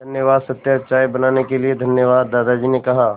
धन्यवाद सत्या चाय बनाने के लिए धन्यवाद दादाजी ने कहा